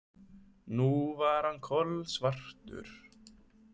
Nú var hann kolsvartur.